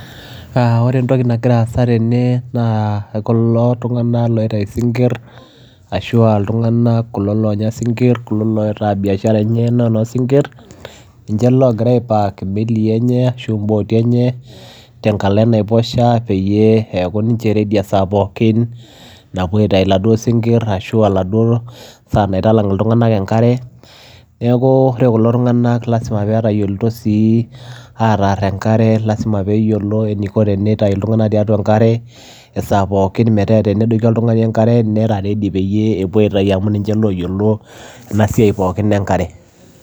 Ore entoki nagira aasa tene naa kulo tung'anak loitayu isinkirr ashu aa iltung'anak kulo loonya isinkirr kulo loitaa biashara enye naa enoosinkirr ninche loogira aipark imelii enye ashu imbooti enye tenkalo enaiposha peyie eeku ninche ready esaa pookin napuo aitayu iladuo sinkirr ashu enaduo saa naitalang' iltung'anak enkare, neeku ore kulo tung'anak lasima pee etayioloito sii aatarr enkare lasima pee eyioo eniko tenitau iltung'anak tiatua enkare esaa pookin metaa tenedoiki oltung'ani enkare nera ready peyie epuo aitayu amu ninche naa ooyiolo ena siai pooki enkare.